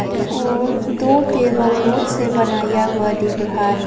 और दो table woods से बनाया हुआ दिख रहा है।